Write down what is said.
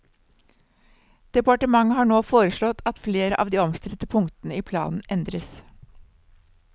Departementet har nå foreslått at flere av de omstridte punktene i planen endres.